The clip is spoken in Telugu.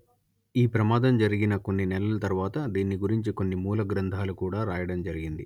ఈ ప్రమాదం జరిగిన కొన్ని నెలల తర్వాత దీన్ని గురించి కొన్ని మూల గ్రంథాలు కూడా రాయడం జరిగింది